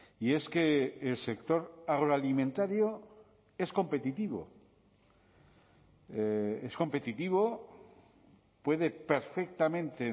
y es que el sector agroalimentario es competitivo es competitivo puede perfectamente